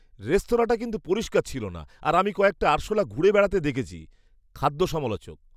রেস্তোরাঁটা কিন্তু পরিষ্কার ছিল না আর আমি কয়েকটা আরশোলা ঘুরে বেড়াতে দেখেছি। খাদ্য সমালোচক